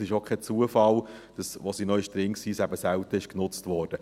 Es ist auch kein Zufall, dass es, als es noch drin war, eben selten genutzt wurde.